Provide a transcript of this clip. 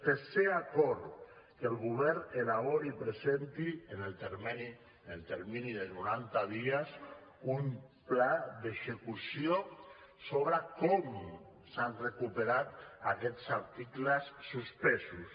tercer acord que el govern elabori i presenti en el termini de noranta dies un pla d’execució sobre com s’han recuperat aquests articles suspesos